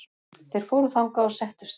Þeir fóru þangað og settust.